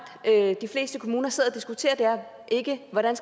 de fleste kommuner sidder og diskuterer er ikke hvordan